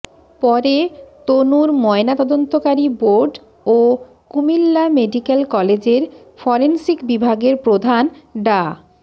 পরে তনুর ময়নাতদন্তকারী বোর্ড ও কুমিল্লা মেডিক্যাল কলেজের ফরেনসিক বিভাগের প্রধান ডা